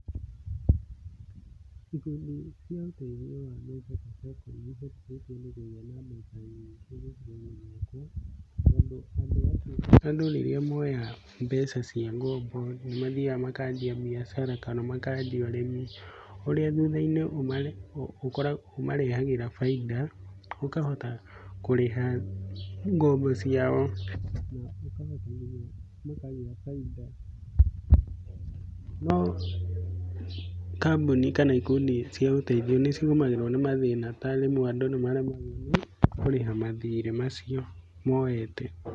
Ikundi cia ũtethio wa mbeca ta Sacco nĩ ihotithĩtie andũ kũgĩa na mbeca nyingĩ gĩcigo-inĩ gĩakwa. Tondũ andũ acio, andũ rĩrĩa moya ngombo nĩ mathiaga makambia mbiacara kana makanjia ũrĩmi, ũrĩa thutha-inĩ ũmarehagĩra bainda, ũkahota kurĩha ngombo ciao, ningĩ ũkahota nginya makagĩa bainda. No kambuni kana ikundi cia ũteithio nĩ cigũmagĩrwo nĩ mathĩna ta rĩmwe andũ nĩ maremagwo kũrĩha mathirĩ macio moete.